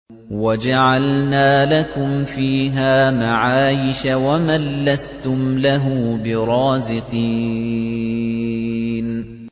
وَجَعَلْنَا لَكُمْ فِيهَا مَعَايِشَ وَمَن لَّسْتُمْ لَهُ بِرَازِقِينَ